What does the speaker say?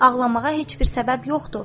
Ağlamağa heç bir səbəb yoxdur,